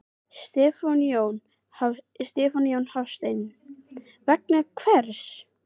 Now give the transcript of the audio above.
Stefán Jón Hafstein: Vegna hvers?